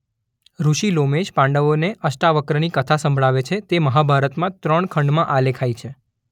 ઋષિ લોમેશ પાંડવોને અષ્ટાવક્રની કથા સંભળાવે છે તે મહાભારતમાં ત્રણ ખંડમાં આલેખાઇ છે.